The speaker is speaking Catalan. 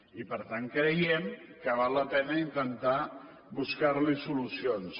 i per tant creiem que val la pena intentar buscar hi solucions